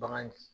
Bagan